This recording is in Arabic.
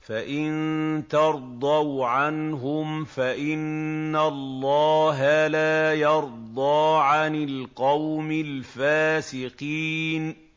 فَإِن تَرْضَوْا عَنْهُمْ فَإِنَّ اللَّهَ لَا يَرْضَىٰ عَنِ الْقَوْمِ الْفَاسِقِينَ